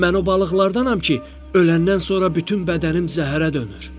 Mən o balıqlardanam ki, öləndən sonra bütün bədənim zəhərə dönür.